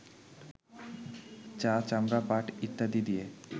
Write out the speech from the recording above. চা, চামড়া, পাট ইত্যাদি দিয়ে